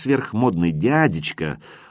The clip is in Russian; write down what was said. сверхмодный дядечка